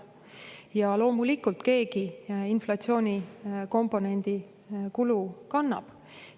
Ja loomulikult keegi inflatsioonikomponendi kulu kannab.